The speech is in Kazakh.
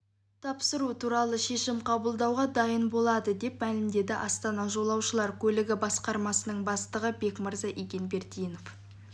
тапсыру туралы шешім қабылдауға дайын болады деп мәлімдеді астана жолаушылар көлігі басқармасының бастығы бекмырза игенбердинов